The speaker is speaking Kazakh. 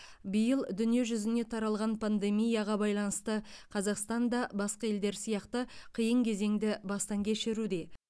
биыл дүниежүзіне таралған пандемияға байланысты қазақстан да басқа елдер сияқты қиын кезеңді бастан кешіруде